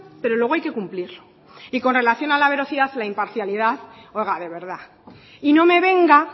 pero luego hay que cumplirlo y con relación a la veracidad la imparcialidad oiga de verdad y no me venga